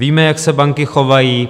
Víme, jak se banky chovají.